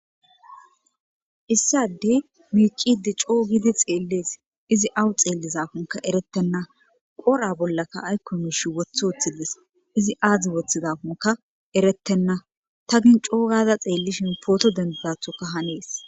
issadey miicidi coo gidi xeellees izi awu xeellizafunka eretenna qora bollaka aykko mishi wothe wooththilles izi aadzdzi woththizafunka erettenna ta gin coogada xeellishin pooto dendidathoka hanees